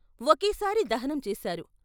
ఒకేసారి దహనం చేశారు.